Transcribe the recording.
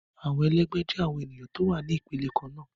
Awọn ẹlẹgbẹ jẹ awon eniyan ti o wa ni ipele kanna